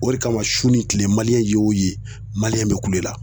O de kama su ni tile maliyɛn y'o ye maliyɛn bɛ kulo la..